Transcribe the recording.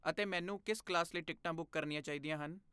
ਅਤੇ ਮੈਨੂੰ ਕਿਸ ਕਲਾਸ ਲਈ ਟਿਕਟਾਂ ਬੁੱਕ ਕਰਨੀਆਂ ਚਾਹੀਦੀਆਂ ਹਨ?